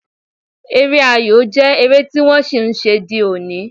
Eré ayò jẹ́ eré tí wọ́n ṣì ń ṣe di òní